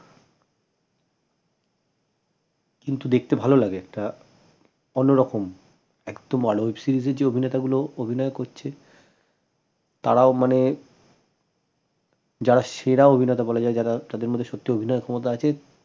কিন্তু দেখতে ভাল লাগে একটা অন্যরকম একদম web series এ যে অভিনেতা গুলো অভিনয় করছে তারাও মানে যারা সেরা অভিনেতা বলা যায় যারা তাদের মধ্যে সত্যি অভিনয় ক্ষমতা আছে।